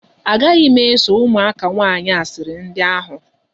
Agaghị m eso ụmụaka nwaanyị asịrị ndị ahụ.